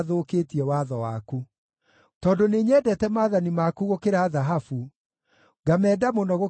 Tondũ nĩnyendete maathani maku gũkĩra thahabu, ngamenda mũno gũkĩra thahabu ĩrĩa therie,